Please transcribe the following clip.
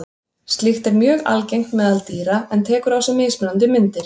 Slíkt er mjög algengt meðal dýra en tekur á sig mismunandi myndir.